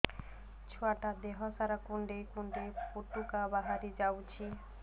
ଛୁଆ ଟା ଦେହ ସାରା କୁଣ୍ଡାଇ କୁଣ୍ଡାଇ ପୁଟୁକା ବାହାରି ଯାଉଛି